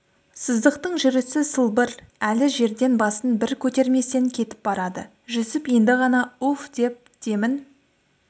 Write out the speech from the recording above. сыздықтың жүрісі сылбыр әлі жерден басын бір көтерместен кетіп барады жүсіп енді ғана үф деп демін